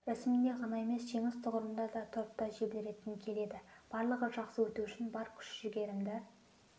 рәсімінде ғана емес жеңіс тұғырында тұрып та желбіреткім келеді барлығы жақсы өту үшін бар күш-жігерімді